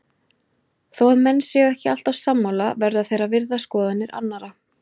Þó að menn séu ekki alltaf sammála verða þeir að virða skoðanir annara.